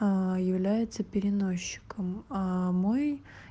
является переносчиком а мой